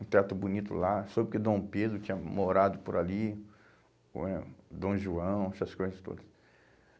um teto bonito lá, soube que Dom Pedro tinha morado por ali, hum eh Dom João, essas coisas todas.